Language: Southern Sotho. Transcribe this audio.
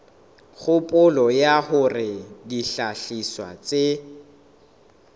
kgopolo ya hore dihlahiswa tse